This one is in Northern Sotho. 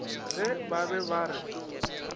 ge ba be ba re